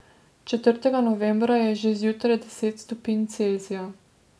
Četrtega novembra je že zjutraj deset stopinj Celzija.